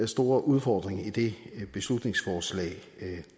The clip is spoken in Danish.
store udfordring i det beslutningsforslag